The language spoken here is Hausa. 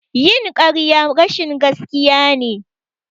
Yin ƙarya rashin gaskiya ne.